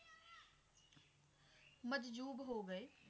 ਮਜਜੂਬ ਹੋ ਗਏ